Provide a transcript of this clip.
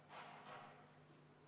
Proteste ei ole.